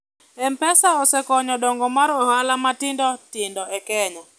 mpesa osekonyo dongo mar ohala matindo tindo e kenya